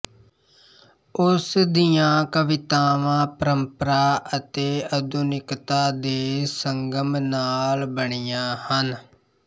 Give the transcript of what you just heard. ਉਸ ਦੀਆਂ ਕਵਿਤਾਵਾਂ ਪਰੰਪਰਾ ਅਤੇ ਆਧੁਨਿਕਤਾ ਦੇ ਸੰਗਮ ਨਾਲ ਬਣੀਆ ਹਨ